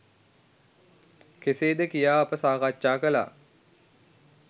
කෙසේද කියා අප සාකච්ඡා කළා.